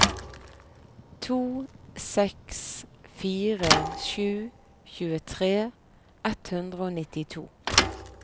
to seks fire sju tjuetre ett hundre og nittito